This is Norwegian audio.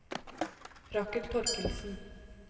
Rakel Thorkildsen